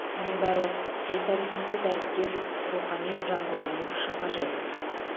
мұның бәрі төл тарихымызды дәріптеп рухани жаңғыруымыз үшін қажет